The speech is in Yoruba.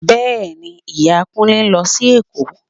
Bẹ́ẹ̀ni, Ìyàwó Kúnlé ń lọ sí Èkó